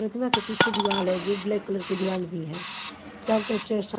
प्रतिमा के पीछे दीवाल है जो ब्लैक कलर की दीवार भी है चारों तरफ से शा--